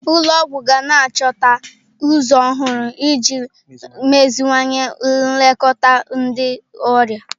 Ụlọ ọgwụ ga na-achọta ụzọ ọhụrụ iji meziwanye nlekọta ndị ọrịa.